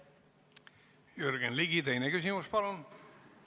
Jürgen Ligi, teine küsimus, palun!